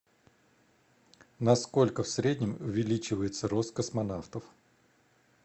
на сколько в среднем увеличивается рост космонавтов